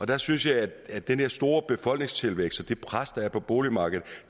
der synes jeg at den her store befolkningstilvækst og det pres der er på boligmarkedet